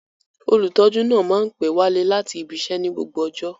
Olutọju naa ma n pẹ wale lati ibiṣẹ ni gbogbo ọjọ